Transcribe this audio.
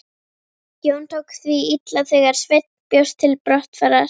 Jón tók því illa þegar Sveinn bjóst til brottfarar.